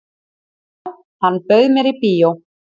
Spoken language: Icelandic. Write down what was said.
"""Já, hann bauð mér í bíó."""